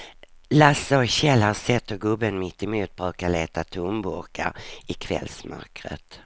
Lasse och Kjell har sett hur gubben mittemot brukar leta tomburkar i kvällsmörkret.